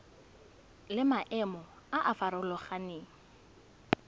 le maemo a a farologaneng